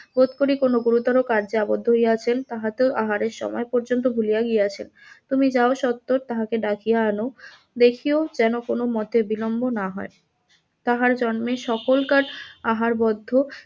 তদুপরি কোন কাজে আবদ্ধ হইয়াছেন হয়ত আহারের সময় পর্যন্ত ভুলিয়া গিয়াছেন, তুমি যাও স্বত্বর তাহাকে ডাকিয়া আন, দেখিও যেন কোন মতের বিলম্ব না হয়, তাহার জন্মের সকলকার আহার বদ্ধম